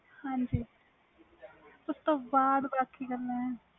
ਹਾਜੀ ਉਸ ਤੋਂ ਬਾਅਦ ਬਾਕੀ ਗੱਲਾਂ ਵ